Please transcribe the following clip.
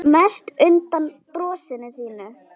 Mest undan brosinu þínu.